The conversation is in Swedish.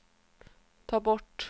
ta bort